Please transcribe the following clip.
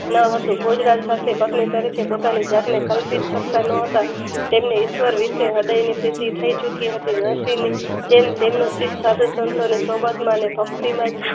ન હતું ગુજરાત સાથે પરિચય પોતાની જતને કલ્પિત સકતા ન હતાં તેમને ઈશ્વર વિષે હૃદયનું ચોખી હતી તેમ તેમ ચિટ સંસારિત શોભામાં અને ભક્તિમય